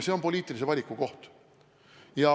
See on poliitilise valiku koht.